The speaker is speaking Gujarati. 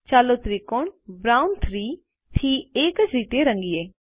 ચાલો ત્રિકોણ બ્રાઉન 3 થી એ જ રીતે રંગીએ